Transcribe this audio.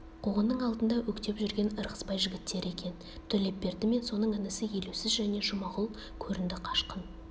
қуғынның алдында өктеп жүрген ырғызбай жігіттері екен төлепберді мен соның інісі елеусіз және жұмағұл көрінді қашқын